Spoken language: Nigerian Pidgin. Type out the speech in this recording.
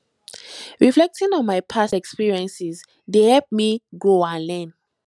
reflecting on my past experiences dey help me grow and learn